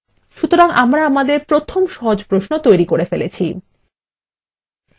সুতরাং আমরা আমাদের প্রথম সহজ প্রশ্ন তৈরী করে ফেলেছি